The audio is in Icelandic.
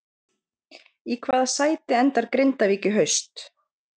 Í hvaða sæti endar Grindavík í haust?